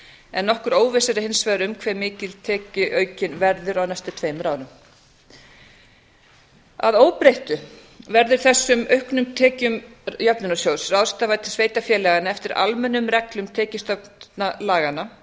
en nokkur óvissa er hins vegar um hve mikil tekjuaukinn verður á næstu tveimur árum að óbreyttu verður þessum auknu tekjum jöfnunarsjóðs ráðstafað til sveitarfélaga eftir almennum reglum tekjustofnalaganna